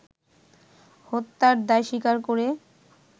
হত্যার দায় স্বীকার করে